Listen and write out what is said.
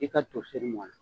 I ka toseri mɔnna